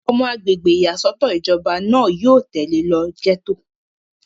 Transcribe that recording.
ọmọ agbègbè ìyàsọ́tọ̀ ìjọba náà yóò tẹ̀lé lọ gẹ́tò